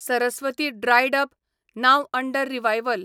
Saraswati dried up, नाव under revival